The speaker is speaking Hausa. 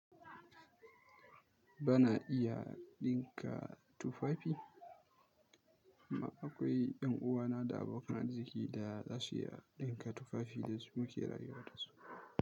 Ba na iya ɗinka tufafi, amma akwai ƴan uwana da abokan arziki da za su iya ɗinka tufafin da suke rayuwa da su.